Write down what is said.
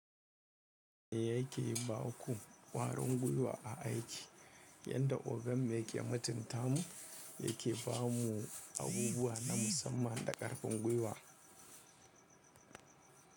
Yayake ba ku ƙwarin gwiwa a aiki yadda ogan mu yake mutunta mu yake ba mu abubuwa na musamman da ƙarfin gwiwa.